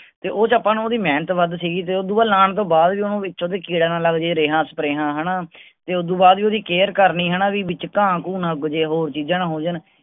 ਆਪਾਂ ਨੂੰ ਓਹਦੀ ਮੇਹਨਤ ਵੱਧ ਸੀਗੀ ਤੇ ਓਦੋਂ ਬਾਅਦ ਲਾਣ ਤੋਂ ਬਾਅਦ ਓਹਨੂੰ ਵਿਚ ਵੀ ਕੀੜਾ ਨਾ ਲੱਗ ਜਾਏ ਰਿਹਾਂ ਸਪਰੇਆਂ ਹੈਨਾ ਤੇ ਓਦੋਂ ਬਾਅਦ ਵੀ ਓਹਦੀ care ਕਰਨੀ ਹੈਨਾ ਵੀ ਵਿਚ ਘਾਹ ਘੂਹ ਨਾ ਉੱਗ ਜਾਏ ਹੋਰ ਚੀਜ਼ਾਂ ਨਾ ਹੋ ਜਾਣ।